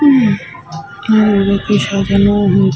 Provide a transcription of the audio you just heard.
হুম আর সাজানো --